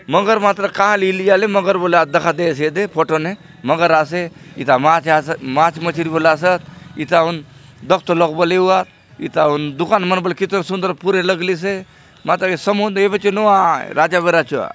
मगरमछ बले कहा ले इली आले मगरमछ बले आज दखा देयसे फोटो ने मगर आसे एथा माछ आसे एथा माछ मछरी बले आसोत एथा हुन द्खतो लोग बले एवुआत एथा हुन दुकान मन बले पूरे लगलीसे मांतर ये समुंद एबे चो नुआय राजा बेरा चो आय।